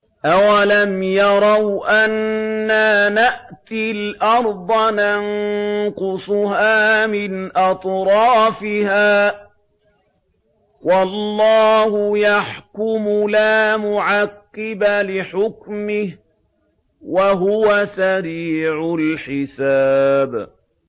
أَوَلَمْ يَرَوْا أَنَّا نَأْتِي الْأَرْضَ نَنقُصُهَا مِنْ أَطْرَافِهَا ۚ وَاللَّهُ يَحْكُمُ لَا مُعَقِّبَ لِحُكْمِهِ ۚ وَهُوَ سَرِيعُ الْحِسَابِ